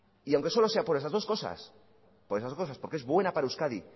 y aunque sea solo por esas dos cosas por esas dos cosas porque es buena para euskadi